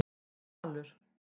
Falur